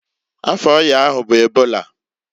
Afa ọya ahụ bụ ebola.